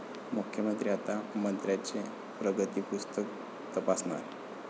मुख्यमंत्री आता मंत्र्यांचे प्रगतिपुस्तक तपासणार!